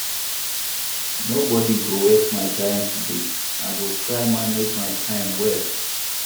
Nobodi go waste my time today, I go try manage my time well.